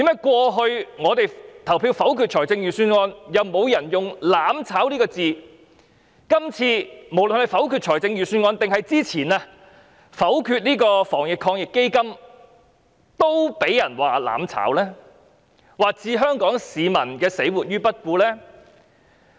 過去我們否決預算案時，沒有人用過"攬炒"這個詞語，但今次否決預算案，或之前否決防疫抗疫基金時，卻被指是"攬炒"，或置香港市民的死活於不顧。